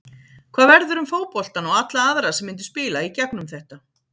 Hvað verður með fótboltann og alla aðra sem myndu spila í gegnum þetta?